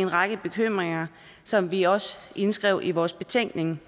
en række bekymringer som vi også indskrev i vores betænkning